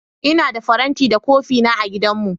Ina da faranti da kofina a gidanmu.